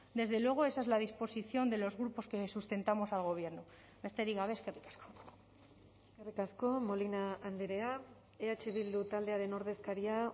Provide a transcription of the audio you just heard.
desde luego esa es la disposición de los grupos que sustentamos al gobierno besterik gabe eskerrik asko eskerrik asko molina andrea eh bildu taldearen ordezkaria